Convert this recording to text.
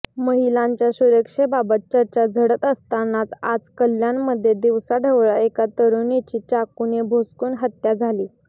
महिलांच्या सुरक्षेबाबत चर्चा झडत असतानाच आज कल्याणमध्ये दिवसाढवळ्या एका तरुणीची चाकूने भोसकून हत्या झाली